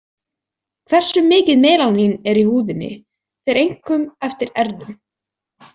Hversu mikið melanín er í húðinni fer einkum eftir erfðum.